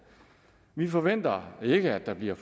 vi forventer ikke at der bliver